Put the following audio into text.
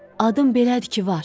Adım belədir ki, var.